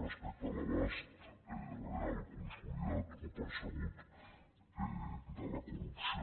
respecte a l’abast real consolidat o percebut de la corrupció